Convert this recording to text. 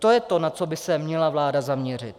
To je to, na co by se měla vláda zaměřit.